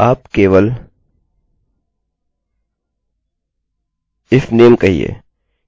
आप केवल if name कहना